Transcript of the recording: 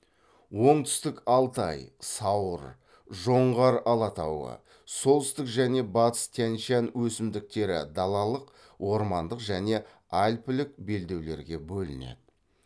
оңтүстік алтай сауыр жоңғар алатауы солтүстік және батыс тянь шань өсімдіктері далалық ормандық және альпілік белдеулерге бөлінеді